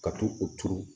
Ka to o turu